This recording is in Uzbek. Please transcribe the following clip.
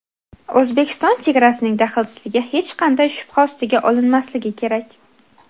O‘zbekiston chegarasining daxlsizligi hech qanday shubha ostiga olinmasligi kerak.